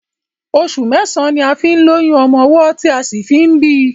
Oṣù mẹ́ẹ̀sán ní a fi ń lóyún ọmọ ọwọ́ tí a sì fi ń bíi.